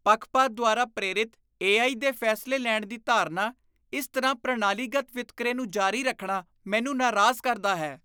ਪੱਖਪਾਤ ਦੁਆਰਾ ਪ੍ਰੇਰਿਤ ਏਆਈ ਦੇ ਫੈਸਲੇ ਲੈਣ ਦੀ ਧਾਰਨਾ, ਇਸ ਤਰ੍ਹਾਂ ਪ੍ਰਣਾਲੀਗਤ ਵਿਤਕਰੇ ਨੂੰ ਜਾਰੀ ਰੱਖਣਾ, ਮੈਨੂੰ ਨਾਰਾਜ਼ ਕਰਦਾ ਹੈ।